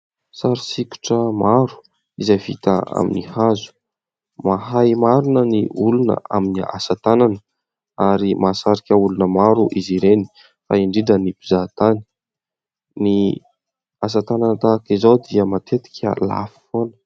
Sary sokitra maro izay vita amin'ny hazo. Mahay marina ny olona amin'ny asa tanana ary mahasarika olona maro izy ireny fa indrindra ny mpizahatany. Ny asa tanana tahaka izao dia matetika lafo foana.